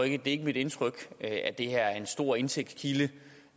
ikke er mit indtryk at det her er en stor indtægtskilde